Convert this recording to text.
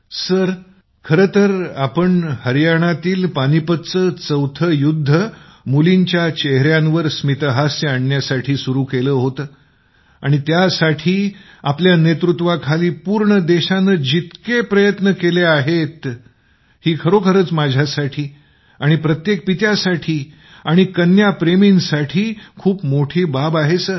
सुनीलः प्रधानमंत्री जी हे आपण जो हरियाणातील पानिपतच्या चौथं युद्ध मुलींच्या चेहऱ्यांवर स्मितहासय आणण्यासाठी सुरू केलं होतं आणि ज्यासाठी आपल्या नेतृत्वाखाली पूर्ण देशानं जितके प्रयत्न केले आहेत तर खरोखरच माझ्यासाठी आणि प्रत्येक कन्या प्रेमींसाठी ही खूप मोठी बाब आहे